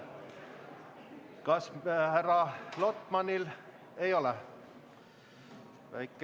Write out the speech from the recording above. Kas härra Lotmanil on küsimus?